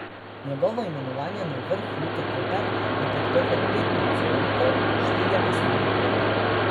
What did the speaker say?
Njegovo imenovanje na vrh Luke Koper je podprlo pet nadzornikov, štirje pa so bili proti.